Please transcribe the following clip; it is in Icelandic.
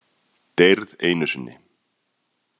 Deyrð einu sinni.